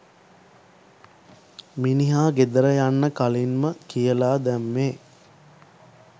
මිනිහා ගෙදර යන්න කලින්ම කියලා දැම්මෙ